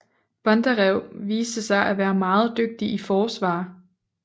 Bondarev viste sig at være meget dygtig i forsvar